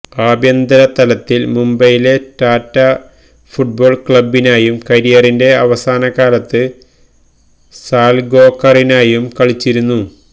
ആഭ്യന്തര തലത്തിൽ മുംബൈയിലെ ടാറ്റ ഫുട്ബോൾ ക്ലബിനായും കരിയറിന്റെ അവസാന കാലത്ത് സാൽഗോക്കറിനായും കളിച്ചിരുന്നു